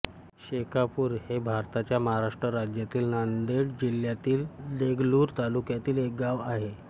शेखापूर हे भारताच्या महाराष्ट्र राज्यातील नांदेड जिल्ह्यातील देगलूर तालुक्यातील एक गाव आहे